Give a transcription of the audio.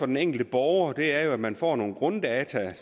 den enkelte borger er jo at man får nogle grunddata